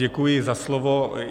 Děkuji za slovo.